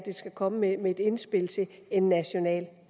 skal komme med et indspil til en national